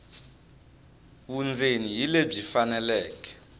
vundzeni hi lebyi faneleke